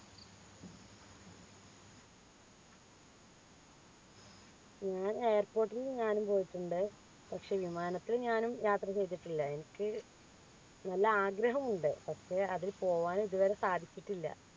ഞാൻ airport ൽ ഞാനും പോയിട്ടുണ്ട് പക്ഷേ വിമാനത്തിൽ ഞാനും യാത്ര ചെയ്തിട്ടില്ല എനിക്ക് നല്ല ആഗ്രഹമുണ്ട് പക്ഷെ അതിൽ പോവാൻ ഇതുവരെ സാധിച്ചിട്ടില്ല